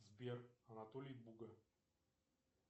сбер анатолий буга